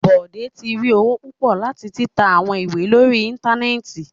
Bode ti ri owo pupọ lati tita awọn iwe lori íńtánẹ́ẹ̀tì